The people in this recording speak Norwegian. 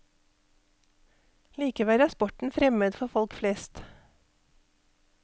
Likevel er sporten fremmed for folk flest.